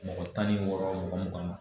Mɔgɔ tan ni wɔɔrɔ, mɔgɔ mugan ma